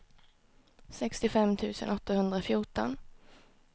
sextiofem tusen åttahundrafjorton